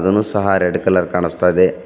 ಅದು ಸಹ red colour ಕಾಣುಸ್ತಾಯಿದೆ.